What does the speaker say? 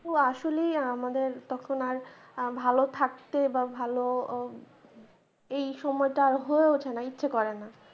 তো আসলেই আমাদের তখন আর ভালো থাকতে বা ভালো এই সময়টা আর হয়ে উঠেনা ইচ্ছা করেনা।